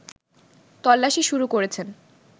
তল্লাশি শুরু করেছেন